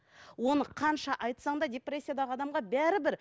оны қанша айтсам да депрессиядағы адамға бәрібір